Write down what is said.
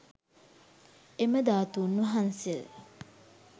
එම ධාතූන් වහන්සේ